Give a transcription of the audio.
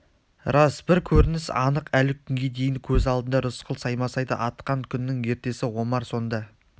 рас бір көрініс анық әлі күнге дейін көз алдында рысқұл саймасайды атқан күннің ертесі омар сонда